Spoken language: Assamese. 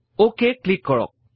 অক ক্লিক কৰক